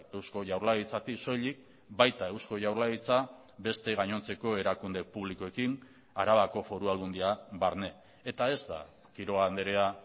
eusko jaurlaritzatik soilik baita eusko jaurlaritza beste gainontzeko erakunde publikoekin arabako foru aldundia barne eta ez da quiroga andrea